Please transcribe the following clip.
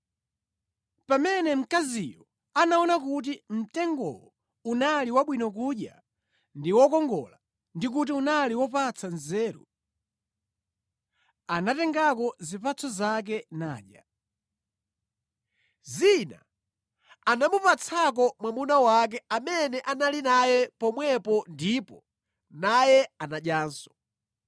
Pamene mkaziyo anaona kuti mtengowo unali wabwino kudya ndi wokongola ndi kuti unali wopatsa nzeru, anatengako zipatso zake nadya. Zina anamupatsako mwamuna wake amene anali naye pomwepo ndipo naye anadyanso.